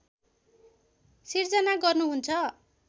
सिर्जना गर्नुहुन्छ